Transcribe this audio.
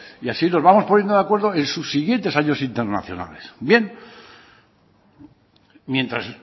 y así nos vamos poniendo de acuerdo en sus siguientes años internacionales bien mientras